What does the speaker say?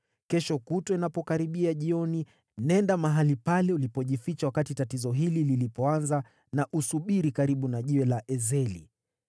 Kesho kutwa, inapokaribia jioni, nenda mahali pale ulipojificha wakati tatizo hili lilipoanza na usubiri karibu na jiwe la Ezeli.